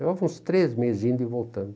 Levava uns três meses indo e voltando.